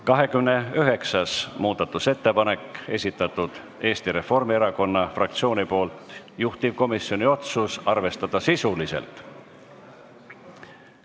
29. muudatusettepaneku on esitanud Eesti Reformierakonna fraktsioon, juhtivkomisjoni otsus on arvestada sisuliselt.